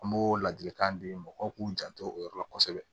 An b'o ladilikan di mɔgɔw k'u janto o yɔrɔ la kosɛbɛ